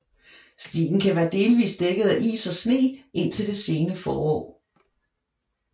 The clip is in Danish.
Stien kan være delvist dækket af is og sne indtil det sene forår